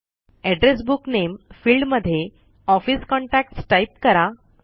address book नामे field मध्ये office contacts type करा